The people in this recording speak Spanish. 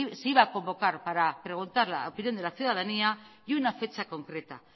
se iba a convocar para preguntar la opinión de la ciudadanía y una fecha concreta